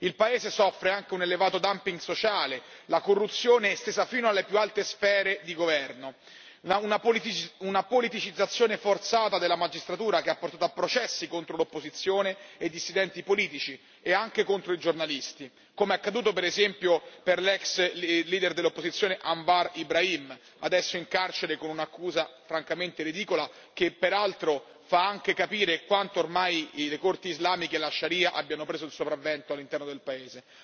Il paese soffre anche di un elevato dumping sociale, la corruzione è estesa fino alle più alte sfere di governo, e una politicizzazione forzata della magistratura ha portato a processi contro l'opposizione e i dissidenti politici e anche contro i giornalisti, come è accaduto per esempio per l'ex leader dell'opposizione Anwar Ibrahim, adesso in carcere con un'accusa francamente ridicola, che peraltro fa anche capire quanto ormai le Corti islamiche e la sharia abbiano preso il sopravvento all'interno del paese.